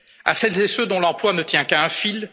fixe à celles et ceux dont l'emploi ne tient qu'à